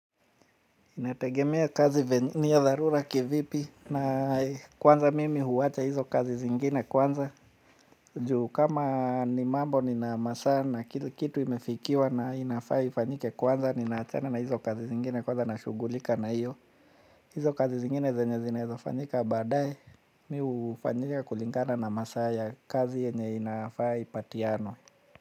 Inategemea kazi ni ya dharura kivipi na kwanza mimi huwacha hizo kazi zingine kwanza. Juu kama ni mambo nina masaa na kitu imefikiwa na inafaa ifanyike kwanza ninaachana na hizo kazi zingine kwanza nashugulika na hiyo. Hizo kazi zingine zenye zinaweza fanyika badaaye. Mi hufanyika kulingana na masaa ya kazi yenye inafaa ipatianwe.